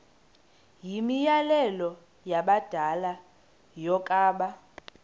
yimianelo yabadala yokaba